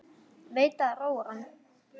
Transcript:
Veit að það róar hann.